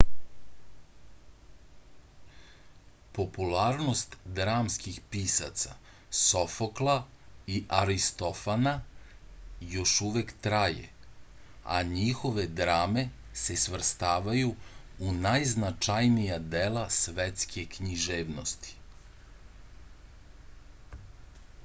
popularnost dramskih pisaca sofokla i aristofana još uvek traje a njihove drame se svrstavaju u najznačajnija dela svetske književnosti